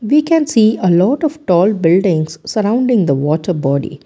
we can see a lot of tall buildings sorrowding the water body.